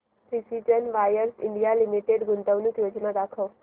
precision wires India limited गुंतवणूक योजना दाखव